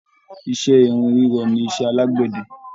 Iṣẹ́ irin rírọ nisẹ́ àlágbẹ̀dẹ